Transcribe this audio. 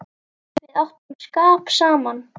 Við áttum skap saman.